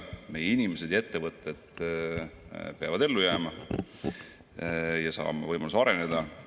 Meie inimesed ja ettevõtted peavad ellu jääma ja saama võimaluse areneda.